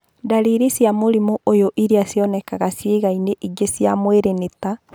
Ndariri cia mũrimũ ũyũ iria cionekanaga ciagainĩ ingĩ cia mwĩrĩ nĩ ta